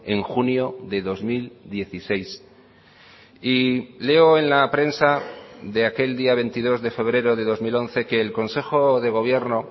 en junio de dos mil dieciséis y leo en la prensa de aquel día veintidós de febrero de dos mil once que el consejo de gobierno